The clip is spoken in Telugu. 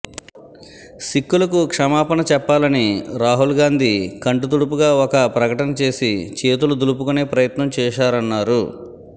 సిక్కులకు క్షమాపణ చెప్పాలని రాహుల్ గాంధీ కంటి తుడుపుగా ఒక ప్రకటన చేసి చేతులు దులుపుకునే ప్రయత్నం చేశారన్నారు